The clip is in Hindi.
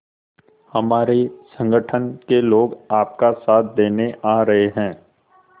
हमारे संगठन के लोग आपका साथ देने आ रहे हैं